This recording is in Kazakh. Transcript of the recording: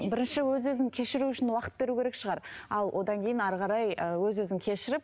бірінші өз өзін кешіру үшін уақыт беру керек шығар ал одан кейін әрі қарай і өз өзін кешіріп